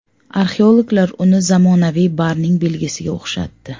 Arxeologlar uni zamonaviy barning belgisiga o‘xshatdi.